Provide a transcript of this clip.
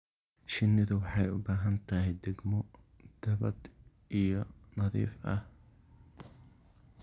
shinidu waxay uu bahan tahay degmo dabad iyo nadif ah.